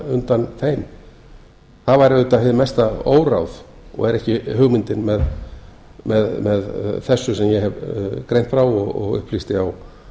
undan þeim það væri auðvitað hið mesta óráð og er ekki hugmyndin með þessu sem ég hef greint frá og upplýsti á